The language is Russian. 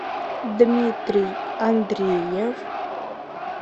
дмитрий андреев